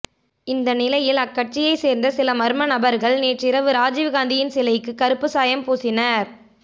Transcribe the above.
இந்த நிலையில் அக்கட்சியை சேர்ந்த சில மர்ம நபர்கள் நேற்றிரவு ராஜீவ் காந்தியின் சிலைக்கு கருப்பு சாயம் பூசினர்